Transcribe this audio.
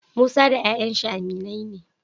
Musa da yayan shi aminai ne